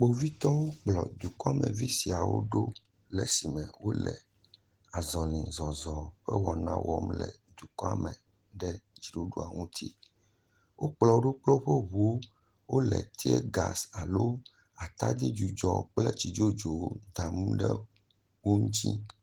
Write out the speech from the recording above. Kpovitɔwo kplɔ dukɔmevi siawo ɖo le esime wole zɔlizɔzɔ ƒe wɔna wɔm le dukɔa me ɖe dziɖuɖua ŋuti. Wokplɔ wo ɖo kple woƒ ŋuwo. Wole tiɛgasi alo atadzidzudzɔ kple tsidzodzowo dam ɖe wo ŋuti.